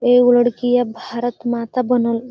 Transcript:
एगो लड़कीया भारत माता बनल --